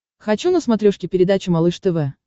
хочу на смотрешке передачу малыш тв